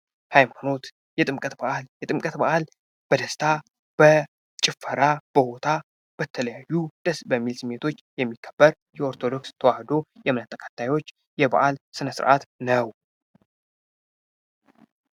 ሀይማኖት ፦ የጥምቀት በዓል ፦ የጥምቀት በዓል በደስታ ፣ በጭፈራ፣ በሁታ በተለያዩ ደስ በሚሉ ስሜቶች የሚከበር የኦርቶዶክስ ተዋህዶ የእምነት ተከታዮች የበዓል ስነስረዓት ነው ።